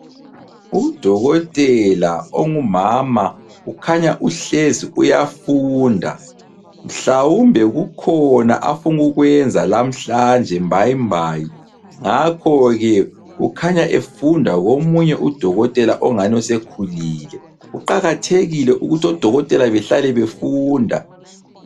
Udokotela ongumama ukhanya uhlezi uyafunda mhlawumbe kukhona afuna ukukwenza lamhlanje mbayimbayi ngakho-ke ukhanya efunda komunye udokotela ongani sekhulile. Kuqakathekile ukuthi odokotela behlale befunda.